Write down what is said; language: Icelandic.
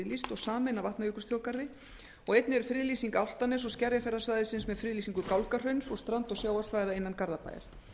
og sameinað vatnajökulsþjóðgarði og einnig er friðlýsing álftaness og skerjafjarðarsvæðisins með friðlýsingu gálgahrauns og strand og sjávarsvæða innan garðabæjar